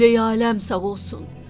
Qibləyi-aləm sağ olsun!